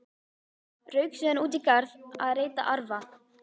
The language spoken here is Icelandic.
Rauk síðan út í garð að reyta arfa.